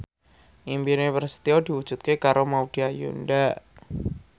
impine Prasetyo diwujudke karo Maudy Ayunda